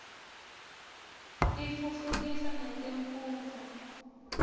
tiftutfukisa netemfundvo